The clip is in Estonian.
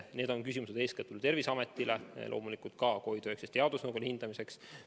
Need küsimused on eeskätt Terviseametile, loomulikult ka COVID-19 teadusnõukojale hindamiseks.